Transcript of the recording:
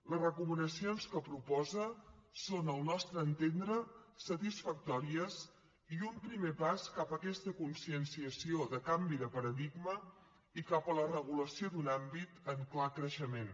les recomanacions que proposa són al nostre entendre satisfactòries i un primer pas cap a aquesta conscienciació de canvi de paradigma i cap a la regulació d’un àmbit en clar creixement